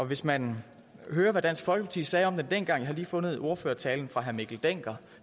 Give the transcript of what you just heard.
hvis man vil høre hvad dansk folkeparti sagde om det dengang jeg har lige fundet ordførertalen fra herre mikkel dencker